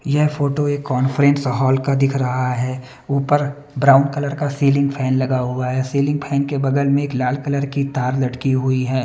यह फोटो एक conference hall का दिख रहा है ऊपर ब्राउन कलर का सीलिंग फैन लगा हुआ है सीलिंग फैन के बगल में एक लाल कलर की तार लटकी हुई है।